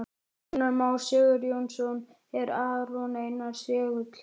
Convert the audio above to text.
Rúnar Már Sigurjónsson: Er Aron Einar segull?